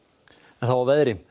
þá að veðri